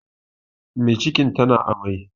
Mai cikin ta na amai